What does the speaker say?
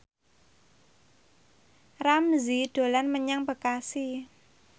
Ramzy dolan menyang Bekasi